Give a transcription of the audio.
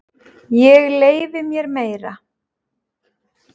Ég leyfi mér meira.